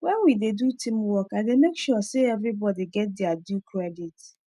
when we dey do teamwork i dey make sure say everybody get their due credit